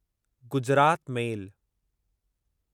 Gujarat मेल